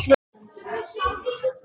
Mamma stynur.